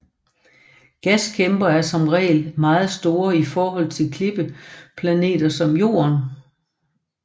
Gaskæmper er som regel meget store i forhold til klippeplaneter som Jorden